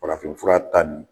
Farafinfura tan nin.